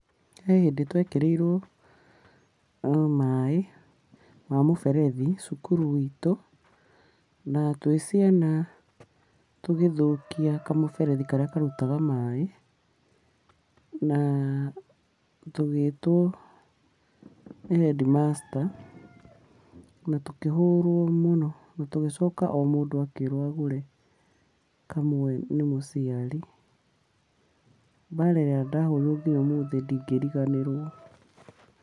He hĩndĩ twekĩrĩirwo maaĩ ma mũberethi, cukuru itũ, na twĩ ciana tũgĩthũkia kamũberethi karĩa karutaga maaĩ, na tũgĩtwo nĩ headmaster, na tũkihũrwo mũno. Na tugĩcoka o mũndũ akĩrwo agũre kamwe nĩ mũciari. Mbara ĩrĩa ndahũrirwo nginya ũmũthĩ ndingĩriganĩrwo.